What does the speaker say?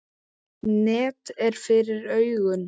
Net er fyrir augum.